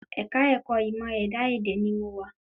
Ẹ̀ka ẹ̀kọ́ ìmọ̀ ẹ̀dá èdè ni mo wa